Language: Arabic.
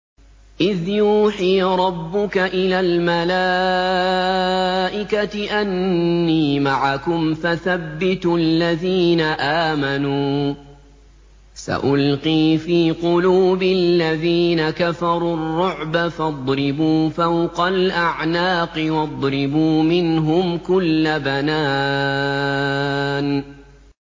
إِذْ يُوحِي رَبُّكَ إِلَى الْمَلَائِكَةِ أَنِّي مَعَكُمْ فَثَبِّتُوا الَّذِينَ آمَنُوا ۚ سَأُلْقِي فِي قُلُوبِ الَّذِينَ كَفَرُوا الرُّعْبَ فَاضْرِبُوا فَوْقَ الْأَعْنَاقِ وَاضْرِبُوا مِنْهُمْ كُلَّ بَنَانٍ